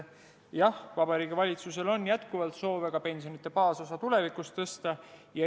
Jah, Vabariigi Valitsusel on jätkuvalt soov ka pensionide baasosa tulevikus tõsta.